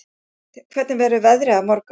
Kort, hvernig verður veðrið á morgun?